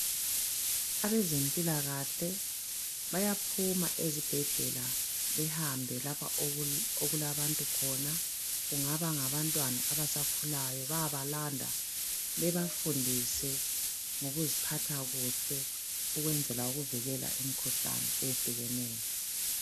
Abezempilakahle bayaphuma ezibhedlela behambe lapha okulabantu khona, kungaba ngabantwana abasakhulayo bayabalanda bebafundise ngokuziphatha kuhle ukwenzela ukuvikela imikhuhlane eyehlukeneyo.